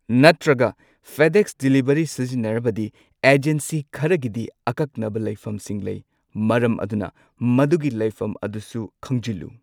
ꯅꯠꯇ꯭ꯔꯒ FedEx delivery ꯁꯤꯖꯤꯟꯅꯔꯕꯗꯤ agency ꯈꯔꯒꯤꯗꯤ ꯑꯀꯛꯅꯕ ꯂꯩꯐꯝꯁꯤꯡ ꯂꯩ, ꯃꯔꯝ ꯑꯗꯨꯅ ꯃꯗꯨꯒꯤ ꯂꯩꯐꯝ ꯑꯗꯨꯁꯨ ꯈꯪꯖꯤꯜꯂꯨ꯫